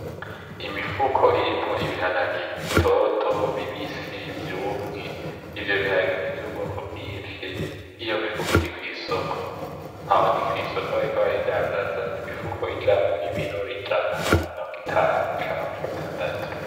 Imifuko irimwo ibiharage bitoto bibisi vyumwe, ivyo biharage nivyubwoko bwinshi, iyo mifuko iri kwisoko. Aho ni kwisoko bariko barayidandaza nimifuko ijamo ibiro ijana, mirongo-itanu canke mirongo-itandatu.